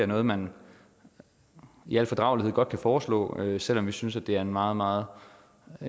noget man i al fordragelighed godt kan foreslå selv om vi synes at det er en meget meget